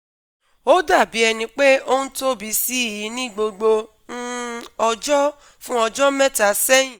Ó dàbí ẹni pé ó ń tóbi sí i ní gbogbo um ọjọ́ fún ọjọ́ mẹ́ta sẹ́yìn